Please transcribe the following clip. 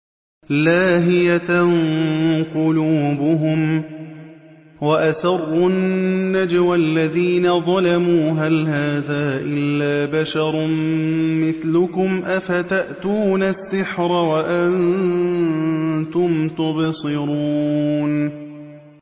لَاهِيَةً قُلُوبُهُمْ ۗ وَأَسَرُّوا النَّجْوَى الَّذِينَ ظَلَمُوا هَلْ هَٰذَا إِلَّا بَشَرٌ مِّثْلُكُمْ ۖ أَفَتَأْتُونَ السِّحْرَ وَأَنتُمْ تُبْصِرُونَ